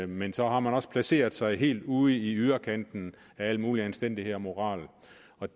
men så har man også placeret sig helt ude i yderkanten af al mulig anstændighed og moral